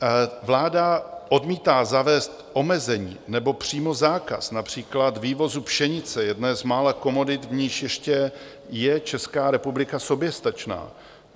Vláda odmítá zavést omezení nebo přímo zákaz například vývozu pšenice, jedné z mála komodit, v níž ještě je Česká republika soběstačná.